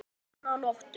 enn þá meðan nóttu